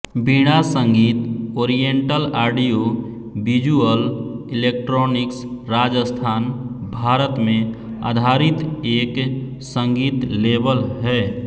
वीणा Sangeet oriental audio visual electronics Rajasthan Bharat में आधारित एक संगीत लेबल है